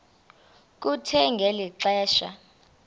kuthe ngeli xesha